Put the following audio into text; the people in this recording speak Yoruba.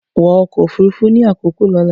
Wọ ọkọ ofurufu ni akoko ọla!